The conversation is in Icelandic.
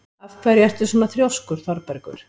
Af hverju ertu svona þrjóskur, Þorbergur?